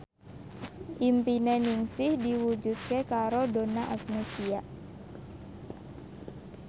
impine Ningsih diwujudke karo Donna Agnesia